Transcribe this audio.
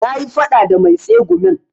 Na yi faɗa da mai tsegumin